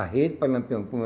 A rede para Lampião.